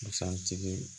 Busan tigi